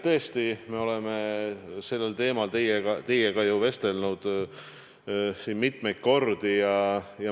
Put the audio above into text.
Tõesti, me oleme sellel teemal teiega vestelnud mitmeid kordi.